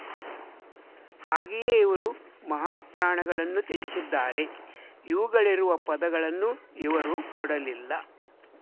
ಹಾಗೆಯೇ ಇವರು ಮಹಾಪ್ರಾಣಗಳನ್ನು ತ್ಯಜಿಸಿದ್ದಾರೆ ಇವುಗಳಿರುವ ಪದಗಳನ್ನು ಇವರು ಕೊಡಲಿಲ್ಲ